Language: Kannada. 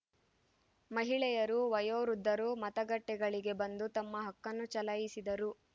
ಮಹಿಳೆಯರು ವಯೋವೃದ್ಧರು ಮತಗಟ್ಟೆಗಳಿಗೆ ಬಂದು ತಮ್ಮ ಹಕ್ಕನ್ನು ಚಲಾಯಿಸಿದರು